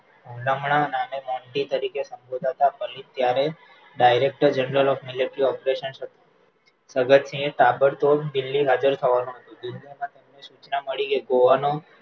હુલામણા નામે મોન્ટી તરીકે સંબોધતા પલ્લીત ત્યારે director general of military of the session જગતસિંહને તાબડતોબ દિલ્લી હાજર થવાનું હતું સૂચના મળી ગઈ ગોવાનો